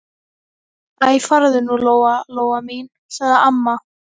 Æ, farðu nú, Lóa-Lóa mín, sagði amma.